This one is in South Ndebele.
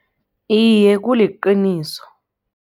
Iye, kuliqiniso.